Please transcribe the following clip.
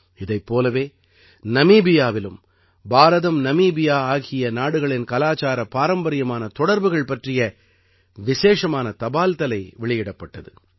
இதைப் போலவே நமீபியாவிலும் பாரதம்நமீபியா ஆகிய நாடுகளின் கலாச்சார பாரம்பரியமான தொடர்புகள் பற்றிய விசேஷமான தபால்தலை வெளியிடப்பட்டது